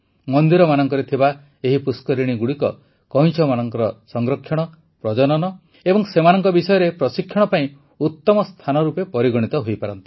ମନ୍ଦିରମାନଙ୍କରେ ଥିବା ଏହି ପୁଷ୍କରିଣୀଗୁଡ଼ିକ କଇଁଛମାନଙ୍କର ସଂରକ୍ଷଣ ପ୍ରଜନନ ଏବଂ ସେମାନଙ୍କ ବିଷୟରେ ପ୍ରଶିକ୍ଷଣ ପାଇଁ ଉତମ ସ୍ଥାନ ରୂପେ ପରିଗଣିତ ହୋଇପାରନ୍ତି